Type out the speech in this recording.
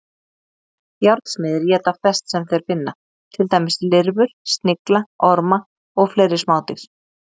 Járnsmiðir éta flest sem þeir finna, til dæmis lirfur, snigla, orma og fleiri smádýr.